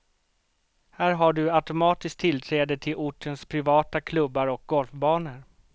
Här har du automatiskt tillträde till ortens privata klubbar och golfbanor.